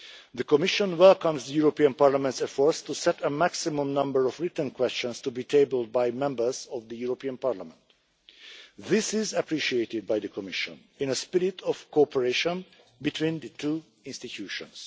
The Commission welcomes the European Parliament's efforts to set a maximum number of written questions to be tabled by Members of the European Parliament. This is appreciated by the Commission in a spirit of cooperation between the two institutions.